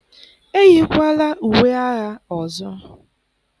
eyikwala uwe agha ọzọ!